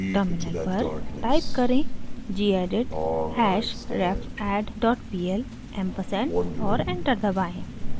terminal पर type करें: gedit hashrefadd dot pl ampersand और एंटर दबाएं